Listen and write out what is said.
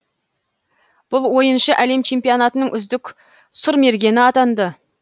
бұл ойыншы әлем чемпионатының үздік сұрмергені атанды